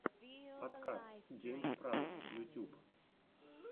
подкаст гейм спраут ютюб